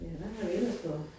Ja, hvad har vi ellers fået